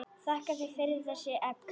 Þakka þér fyrir þessi egg.